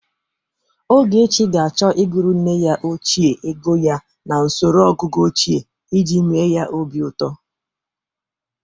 Ogechi ga-achọ ịgụrụ nne ya ochie ego ya n'osoro ọgụgụ ochie iji mee ya obi ụtọ.